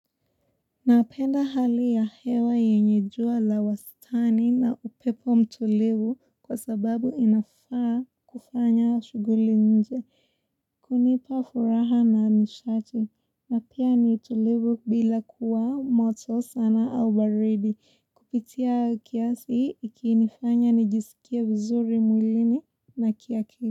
Napenda hali ya hewa yenye jua la wastani na upepo mtulivu kwa sababu inafaa kufanya shuguli nje. Hunipa furaha na nishati na pia nitulivu bila kuwa moto sana au baridi. Kupitia kiasi ikinifanya nijisikie vizuri mwilini na kia akili.